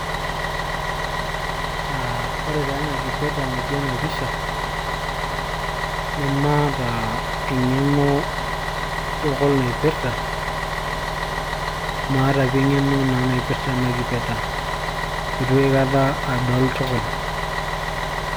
uh, ore taa ena kipeta natii ena pisha nemaata eng'eno tukul naipirta maata pii eng'eno naa naipirrta ena kipeta itu aikata adol tukul.